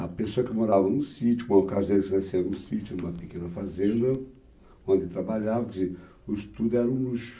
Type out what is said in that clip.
A pessoa que morava num sítio, como é num sítio, numa pequena fazenda, onde trabalhavam, quer dizer, o estudo era um luxo.